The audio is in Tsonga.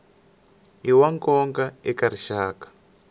i wa nkoka eka rixaka